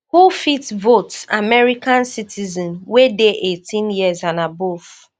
who fit vote- american citizens wey dey eighteen years and above